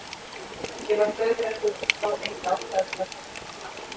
Ég var dauðþreyttur og sá enga ástæðu til að tortryggja hana.